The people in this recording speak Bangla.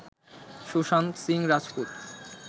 সুশান্ত সিং রাজপুত